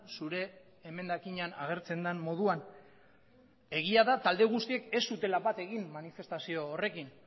zure emendakinean agertzen den moduan egia da talde guztiek ez zutela bat egin manifestazio horrekin